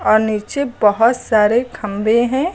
नीचे बहुत सारे खंभे हैं।